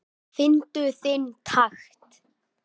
Fyndu þinn takt